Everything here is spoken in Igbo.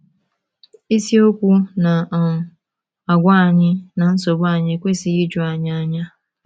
Isiokwu na um - agwa anyị na nsogbu anyị ekwesịghị iju anyị anya.